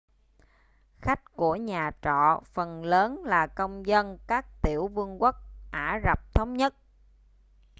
khách của nhà trọ phần lớn là công dân các tiểu vương quốc ả rập thống nhất